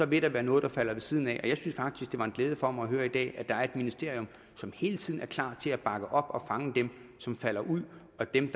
vil der være noget der falder ved siden af jeg synes faktisk det var en glæde for mig i dag at der er et ministerium som hele tiden er klar til at bakke op og fange dem som falder ud og dem